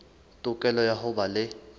tokelo ya ho ba le